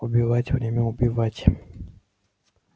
убивать время убивать